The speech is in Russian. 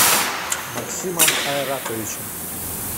максимом айратовичем